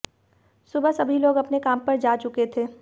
सुबह सभी लोग अपने काम पर जा चुके थे